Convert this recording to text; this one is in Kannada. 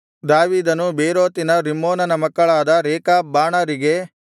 ದಾವೀದನು ಬೇರೋತಿನ ರಿಮ್ಮೋನನ ಮಕ್ಕಳಾದ ರೇಕಾಬ್ ಬಾಣರಿಗೆ